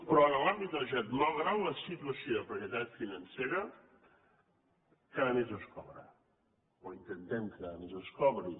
però en l’àmbit de la generalitat malgrat la situació de precarietat financera cada mes es cobra o intentem que cada mes es cobri